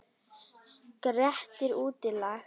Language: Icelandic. Grettir útlagi.